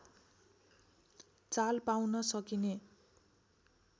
चाल पाउन सकिने